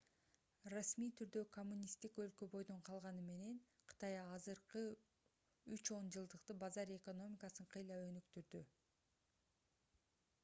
расмий түрдө коммунисттик өлкө бойдон калганы менен кытай акыркы үч он жылдыкта базар экономикасын кыйла өнүктүрдү